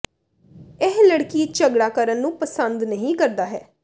ਇਹ ਲੜਕੀ ਝਗੜਾ ਕਰਨ ਨੂੰ ਪਸੰਦ ਨਹੀ ਕਰਦਾ ਹੈ